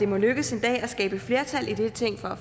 må lykkes at skabe flertal i dette ting for at